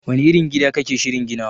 Wani irin gida kake shirin ginawa